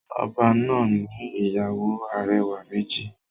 Oba náà ni ìyàwó arẹwà méjì.